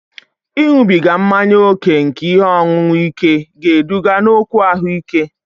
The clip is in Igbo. Ịṅụbiga mmanya ókè nke ihe ọṅụṅụ ike ga-eduga n'okwu ahụike